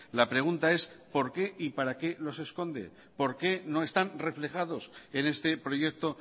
la pregunta es por qué y para qué los esconde por qué no están reflejados en este proyecto